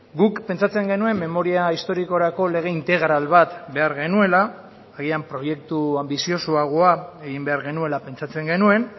guk pentsatzen genuen memoria historikorako lege integral bat behar genuela agian proiektu anbiziozoagoa egin behar genuela pentsatzen genuen